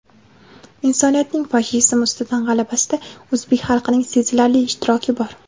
Insoniyatning fashizm ustidan g‘alabasida o‘zbek xalqining sezilarli ishtiroki bor.